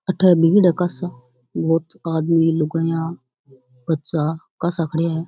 अठे भीड़ है कासा बहुत आदमी लूगाइया बच्चा कासा खड़ा है।